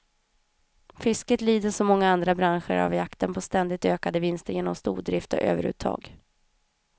Fisket lider som många andra branscher av jakten på ständigt ökade vinster genom stordrift och överuttag.